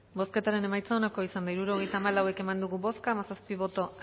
bozketaren emaitza onako izan da hirurogeita hamalau eman dugu bozka hamazazpi boto